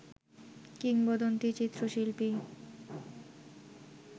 কিংবদন্তি চিত্রশিল্পী